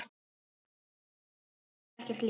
Án matvæla þrífst ekkert líf.